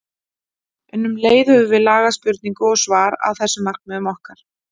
En um leið höfum við lagað spurningu og svar að þessum markmiðum okkar.